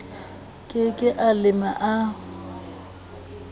ke ke a lema a